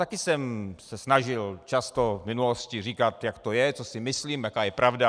Taky jsem se snažil často v minulosti říkat, jak to je, co si myslím, jaká je pravda.